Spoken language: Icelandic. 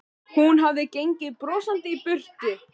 Hún hafði gengið brosandi í burt.